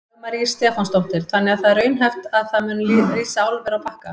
Dagmar Ýr Stefánsdóttir: Þannig að það er raunhæft að það muni rísa álver á Bakka?